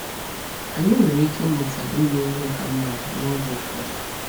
Anyị nwere ike ịmụta ime ihe ka mma n’oge ụfọdụ.